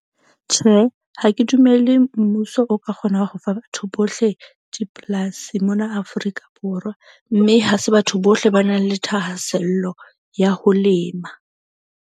Tjhe, ha ke dumele mmuso o ka kgona ho fa batho bohle dipolasi mona Afrika Borwa. Mme ha se batho bohle ba nang le thahasello ya ho lema.